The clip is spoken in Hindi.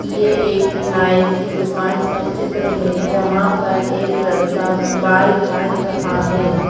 ये एक नाई की दुकान का चित्र है जहां पर एक लड़का बाल काट रहा है।